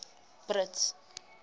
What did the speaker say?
brits